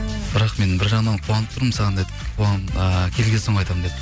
бірақ мен бір жағынан қуанып тұрмын саған деді ыыы келген соң айтамын деді